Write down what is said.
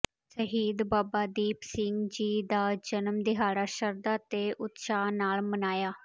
ਸ਼ਹੀਦ ਬਾਬਾ ਦੀਪ ਸਿੰਘ ਜੀ ਦਾ ਜਨਮ ਦਿਹਾੜਾ ਸ਼ਰਧਾ ਤੇ ਉਤਸ਼ਾਹ ਨਾਲ ਮਨਾਇਆ